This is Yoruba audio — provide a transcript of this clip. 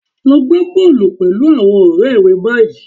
Lo gbá bọ́ọ̀lù pẹ̀lú àwọn ọ̀rẹ́ rẹ báyìí